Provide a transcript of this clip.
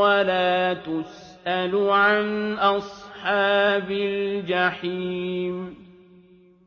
وَلَا تُسْأَلُ عَنْ أَصْحَابِ الْجَحِيمِ